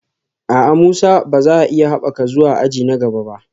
A'a, Musa ba za a iya haɓaka zuwa aji na gaba ba